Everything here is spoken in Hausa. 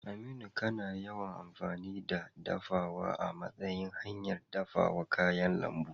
Aminu, kana yawan amfani da dafawa a matsayin hanyar dafa kayan lambu?